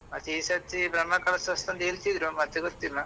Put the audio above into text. ಮತ್ತೆ ಈ ಸರ್ತಿ ಬ್ರಹ್ಮಕಲಾಶೋತ್ಸವ ಅಂತ ಹೆಳ್ತಿದ್ರು ಮತ್ತೆ ಗೊತ್ತಿಲ್ಲ.